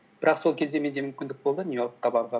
бірақ сол кезде менде мүмкіндік болды нью йоркқа баруға